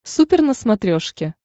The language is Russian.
супер на смотрешке